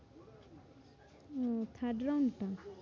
উম third round টা